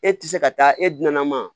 E tɛ se ka taa e dunan ma